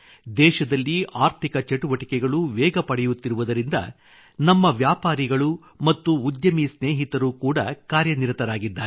ದೇಶದಲ್ಲಿ ಆರ್ಥಿಕ ಚಟುವಟಿಕೆಗಳು ವೇಗ ಪಡೆಯುತ್ತಿರುವುದರಿಂದ ನಮ್ಮ ವ್ಯಾಪಾರಿಗಳು ಮತ್ತು ಉದ್ಯಮಿ ಸ್ನೇಹಿತರು ಕೂಡಾ ಕಾರ್ಯನಿರತರಾಗಿದ್ದಾರೆ